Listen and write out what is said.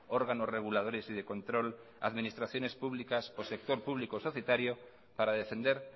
órganos reguladores y de control administraciones públicos o sector público societario para defender